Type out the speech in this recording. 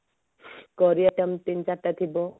ପରିବା ଏମତି ତିନିଚାରିଟା ଥିବ